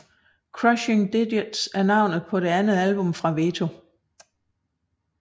Crushing Digits er navnet på det andet album fra Veto